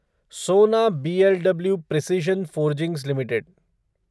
सोना BLW Precision Forgings limited